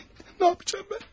Nə edəcəm mən?